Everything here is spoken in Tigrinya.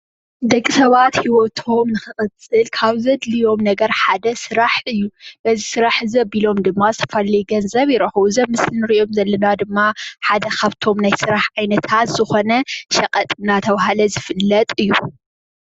ደቒ ሰባት ሂወቶም ንክቕፅል ካብ ዘድልዮም ነገር ሓደ ስራሕ እዩ። በዚ ስራሕ እዚ ኣቢሎም ድማ ዝተፈላለዩ ገንዘብ ይረክቡ ። እዚ ኣብ ምስሊ ንሪኦም ዘለና ድማ ሓደ ካብ እቶም ናይ ስራሕ ዓይነታት ዝኮነ ሸቀጥ እናብህለ ዝፍለጥ እዩ ።